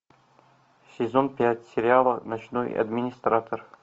сезон пять сериала ночной администратор